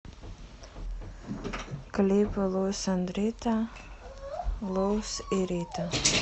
клипы луис энд рита луис и рита